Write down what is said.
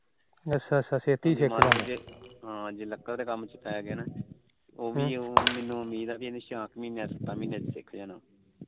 ਹਾ ਜੇ ਲੱਕੜ ਦੇ ਕੰਮ ਚ ਪੈ ਗਿਆ ਨਾ ਉਹ ਵੀ ਮੈਨੂੰ ਉਮੀਦ ਐ ਕੇ ਚਾਰ ਕ ਮਹੀਨਿਆਂ ਚ ਸਿੱਖ ਜਾਣਾ